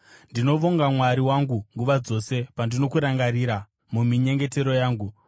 Ndinovonga Mwari wangu nguva dzose pandinokurangarira muminyengetero yangu,